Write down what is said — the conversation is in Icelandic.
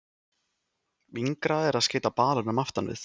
Yngra er að skeyta balanum aftan við.